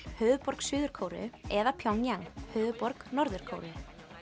höfuðborg Suður Kóreu eða Pjongjang höfuðborg Norður Kóreu